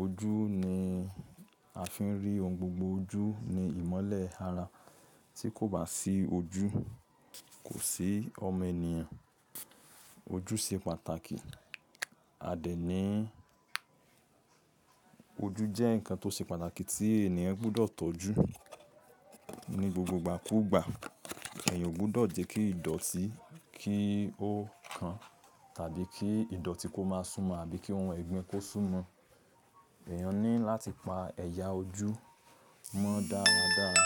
Ojú ni a fi ń rí ohun gbogbo. Ojú ni ìmọ́lẹ̀ ara. Tí kò bá sí ojú, kò sí ọmọ ènìyàn. Ojú ṣe pàtàkì. A dẹ̀ ní ojú jẹ́ nǹkan tó ṣe pàtàkì tí ènìyàn gbọ́dọ̀ tọ́jú ní gbogbo ìgbàkúgbà. Èèyàn ò gbọ́dọ̀ jẹ́ kí ìdọ̀tí kí ó kan tàbí kí ìdọ̀tí kó máa súnmọ́ àbí kí ohun ẹ̀gbin kó súnmọ́. Èèyàn ní láti pa ẹ̀yà ojú mọ́ dáradára.